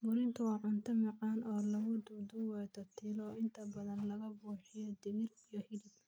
Burrito waa cunto macaan oo lagu duudduubay tortilla, oo inta badan laga buuxiyo digir iyo hilib.